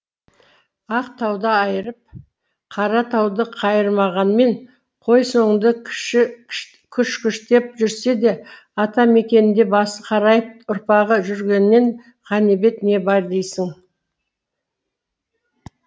ақ тауды айырып қара тауды қайырмағанмен қой соңында кіш кіштеп жүрсе де ата мекенінде басы қарайып ұрпағы жүргенінен ғанибет не бар дейсің